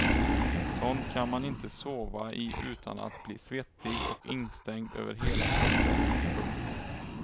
Sånt kan man inte sova i utan att bli svettig och instängd över hela kroppen. punkt